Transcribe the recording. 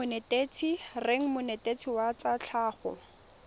reng monetetshi wa tsa tlhago